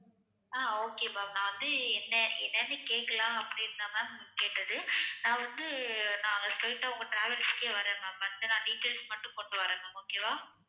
ஆஹ் okay ma'am நான் வந்து என்ன~ என்னன்னு கேக்கலாம் அப்படினு தான் கேட்டது நான் வந்து நாங்க straight ஆ உங்க travels க்கே வரேன் ma'am வந்துட்டு நான் details மட்டும் கொண்டுவரேன் ma'am okay வா